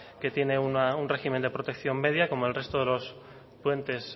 que tiene un régimen de protección media como el resto de los puentes